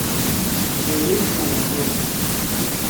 у тебя есть знак зорро